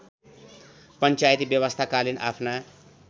पञ्चायती व्यवस्थाकालीन आफ्ना